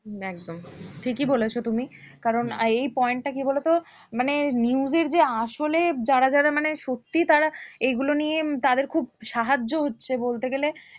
উম একদম ঠিকই বলেছো তুমি কারণ এই point টা কি বলতো মানে news এর যে আসলে যারা যারা মানে সত্যি তারা এইগুলো নিয়ে তাদের খুব সাহায্য হচ্ছে বলতে গেলে